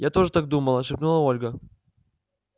я тоже так думала шепнула ольга